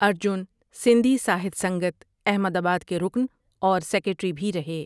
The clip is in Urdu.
ارجن سندھی ساہت سنگت احمد آباد کے رکن اور سیکریٹری بھی رہے ۔